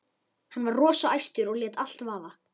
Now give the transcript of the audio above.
Hann var rosa æstur og lét allt vaða.